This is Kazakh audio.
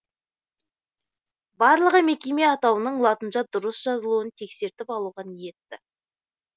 барлығы мекеме атауының латынша дұрыс жазылуын тексертіп алуға ниетті